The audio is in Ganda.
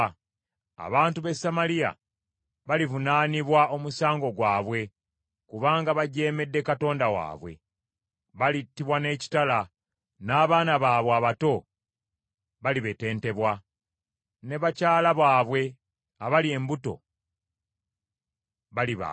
Abantu b’e Samaliya balivunaanibwa omusango gwabwe kubanga bajeemedde Katonda waabwe. Balittibwa n’ekitala, n’abaana baabwe abato balibetentebwa, n’abakyala baabwe abali embuto balibaagibwa.”